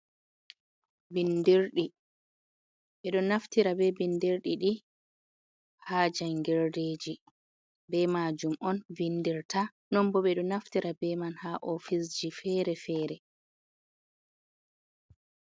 Bindirɗi, ɓe ɗo naftira be bindirɗi ha jangirdeeji, be maajum on vindirta, non bo ɓe ɗo naftira be man ha oofisji fere-fere.